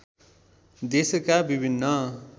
देशका विभिन्न